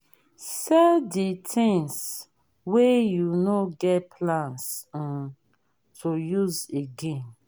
sell di things wey you no get plans um to use again